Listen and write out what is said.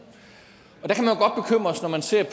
siger at